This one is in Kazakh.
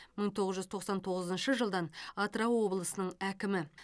мың тоғыз жүз тоқсан тоғызыншы жылдан атырау облысының әкімі